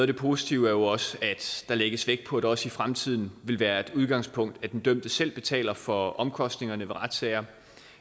det positive er jo også at der lægges vægt på at det også i fremtiden vil være et udgangspunkt at den dømte selv betaler for omkostningerne ved retssagen